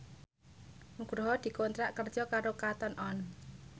Nugroho dikontrak kerja karo Cotton On